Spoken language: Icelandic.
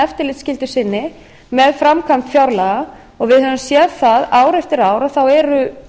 eftirlitsskyldu sinni með framkvæmd fjárlaga og við höfum séð það ár eftir ár að það eru